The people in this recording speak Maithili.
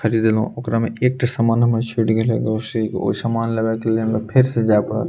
खरीदलो ओकरा में एक टा समान हमार छूट गैले ओ समान लेवे के लिए हमरा फिर से जाए पड़े।